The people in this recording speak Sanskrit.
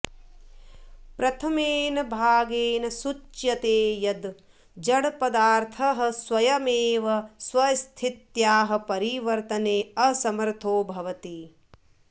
प्रथमेन भागेन सूच्यते यद् जडपदार्थः स्वयमेव स्वस्थित्याः परिवर्त्तने असमर्थो भवति